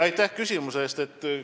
Aitäh küsimuse eest!